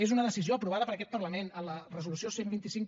és una decisió aprovada per aquest parlament en la resolució cent i vint cinc